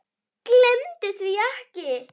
Gleymdu því ekki.